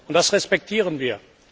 Das respektieren wir.